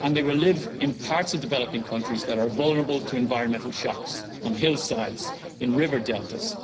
They will live in parts of developing countries that are vulnerable to environmental shocks on hillsides, in river deltas.